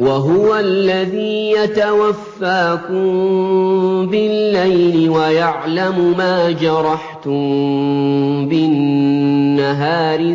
وَهُوَ الَّذِي يَتَوَفَّاكُم بِاللَّيْلِ وَيَعْلَمُ مَا جَرَحْتُم بِالنَّهَارِ